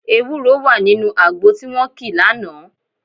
Ewúro wà nínú àgbo tí wọ́n kì lánàá